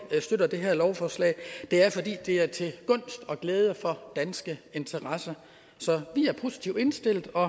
støtter det her lovforslag det er fordi det er til gunst og glæde for danske interesser så vi er positivt indstillet og